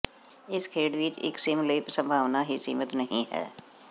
ਇਸ ਖੇਡ ਵਿਚ ਇਕ ਸਿਮ ਲਈ ਸੰਭਾਵਨਾ ਹੀ ਸੀਮਿਤ ਨਹੀ ਹੈ